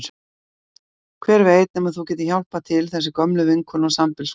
Hver veit nema þú getir hjálpað til, þetta er gömul vinkona og sambýliskona þín.